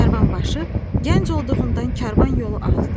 Karvanbaşı gənc olduğundan karvan yolu azdı.